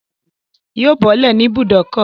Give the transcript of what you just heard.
Yóò bọ́lẹ̀ ní ibùbókọ̀